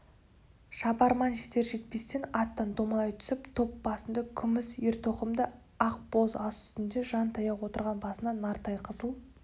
шабарман жетер-жетпестен аттан домалай түсіп топ басында күміс ер-тоқымды ақ боз ат үстінде жантая отырған басына нарттай қызыл